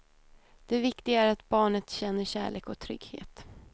Det viktiga är att barnet känner kärlek och trygghet.